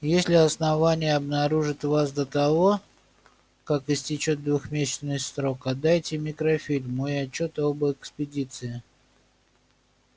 если основание обнаружит вас до того как истечёт двухмесячный срок отдайте микрофильм мой отчёт об экспедиции